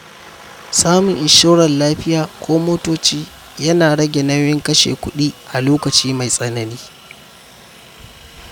Samun inshorar lafiya ko motoci yana rage nauyin kashe kuɗi a lokaci mai tsanani.